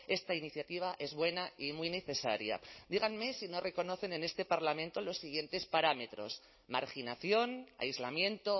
esta iniciativa es buena y muy necesaria díganme si no reconocen en este parlamento los siguientes parámetros marginación aislamiento